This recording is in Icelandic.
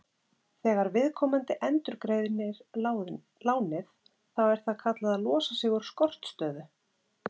Þegar viðkomandi endurgreiðir lánið þá er það kallað að losa sig úr skortstöðu.